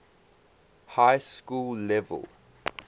high school level